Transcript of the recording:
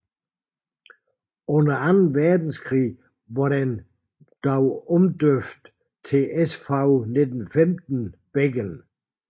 Under anden verdenskrig var den dog omdøbt til SV 1915 Beggen